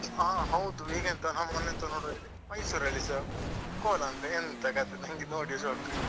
ಹ ಹೌದು ಈಗೆಂತ ನಾನ್ ಮೊನ್ನೆ ಎಂತ ನೋಡಿ Mysore ಅಲ್ಲಿಸಾ ಕೋಲಾ ಅಂತೆ ಎಂತ ಕತೆ ನನ್ಗೆ ನೋಡಿ shock .